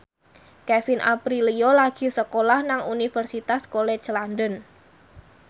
Kevin Aprilio lagi sekolah nang Universitas College London